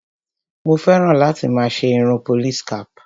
Mo fẹ́ràn láti máa ṣe irun police cap.